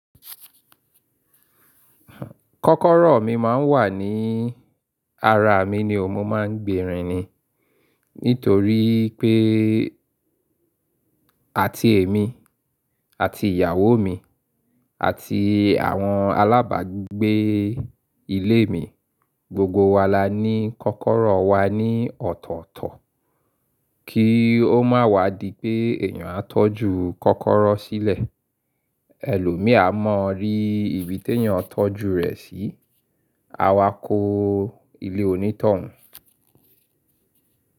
Kọ́kọ́rọ́ mi máa ń wà ní ara mi ni òun mo máa ń gbèrín ni. Nítorí pé, àti èmi, àti ìyàwó mi, àti àwọn alábàgbé ilé mi, gbogbo wa la ní kọ́kọ́rọ́ wa ní ọ̀tọ̀ọ̀tọ̀ kí ó má wá di pé èèyàn á tọ́jú kọ́kọ́rọ́ sílẹ̀. Ẹlòmí á mọ rí ibi tó yàn tọ́jú rẹ̀ sí. A wá kó ilé onítọ̀hún.